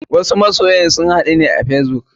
Wasu masyan sun haɗu ne a facebook.